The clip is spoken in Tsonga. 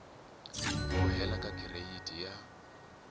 ku hela ka gireyidi ya